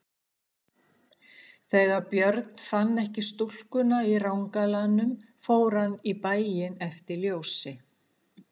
Þegar Björn fann ekki stúlkuna í rangalanum fór hann í bæinn eftir ljósi.